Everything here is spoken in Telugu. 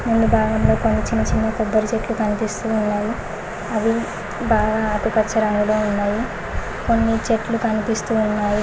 కొన్ని భాగంలో కొన్ని చిన్న చిన్న కొబ్బరి చెట్లు కనిపిస్తు ఉన్నవి అవి బాగా ఆకుపచ్చ రంగులో ఉన్నవి కొన్ని చెట్లు కనిపిస్తూ ఉన్నాయి.